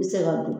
I bɛ se ka dun